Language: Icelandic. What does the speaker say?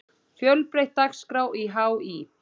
Fjölbreytt dagskrá í HÍ